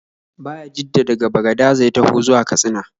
Bayajiddan daga Bagadaza ya taho zuwa Katsina.